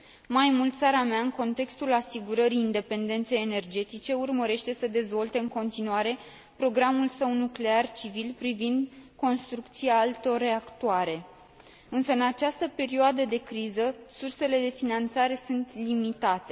Mai mult, țara mea, în contextul asigurării independenței energetice, urmărește să dezvolte în continuare programul său nuclear civil privind construcția altor reactoare, însă, în această perioadă de criză, sursele de finanțare sunt limitate.